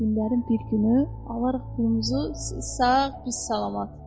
Günlərin bir günü alarıq pulumuzu, siz sağ, biz salamat.